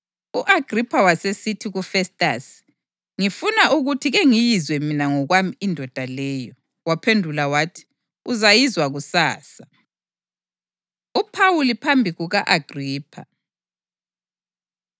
U-Agripha wasesithi kuFestasi, “Ngifuna ukuthi kengiyizwe mina ngokwami indoda leyo.” Waphendula wathi, “Uzayizwa kusasa.” UPhawuli Phambi Kuka-Agripha